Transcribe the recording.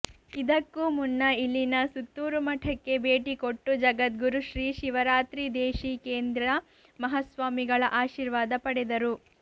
ಇದಕ್ಕೂ ಮುನ್ನ ಇಲ್ಲಿನ ಸುತ್ತೂರು ಮಠಕ್ಕೆ ಭೇಟಿ ಕೊಟ್ಟು ಜಗದ್ಗುರು ಶ್ರೀ ಶಿವರಾತ್ರಿದೇಶೀಕೇಂದ್ರ ಮಹಾಸ್ವಾಮಿಗಳ ಆಶೀರ್ವಾದ ಪಡೆದರು